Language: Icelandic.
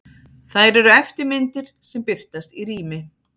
Þær eru eftirmyndir sem birtast í rými.